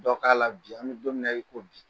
Dɔ k'a la bi an bɛ don min na i ko bi